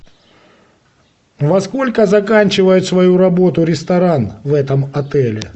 во сколько заканчивает свою работу ресторан в этом отеле